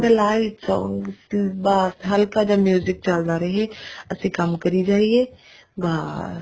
ਵਿੱਚੋਂ ਬੱਸ ਹਲਕਾ ਜਾ music ਚੱਲਦਾ ਹੋਵੇ ਅਸੀਂ ਕੰਮ ਕਰੀ ਜਾਵੇ ਬਾਸ